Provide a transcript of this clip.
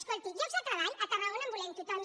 escolti llocs de treball a tarragona en volem tothom